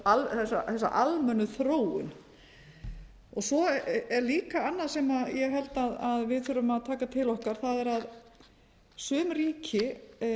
við svona þessa almennu þróun svo er líka annað sem ég held að við þurfum að taka til okkar það er að sum ríki hafa